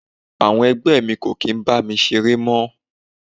Àwọn ẹgbẹ́ mi kò kí ń bá mi ṣeré mọ́.